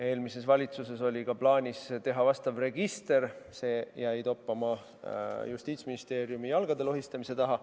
Eelmises valitsuses oli ka plaanis teha vastav register, see jäi aga Justiitsministeeriumis toppama jalgade lohistamise taha.